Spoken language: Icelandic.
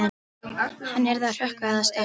Hann yrði að hrökkva eða stökkva.